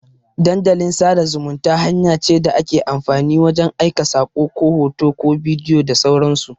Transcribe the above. Dandalin sada zumunta hanya ce da ake amfani wajan aika sako, ko hoto, ko bidiyo da sauran su